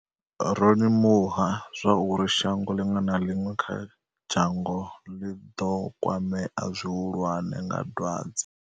Ro limuha zwa uri shango ḽiṅwe na ḽiṅwe kha dzhango ḽi ḓo kwamea zwi hulwane nga dwadze.